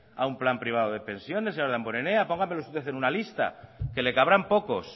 a un plan privado de pensiones señor damborenea póngamelos usted en una lista que le cabrán pocos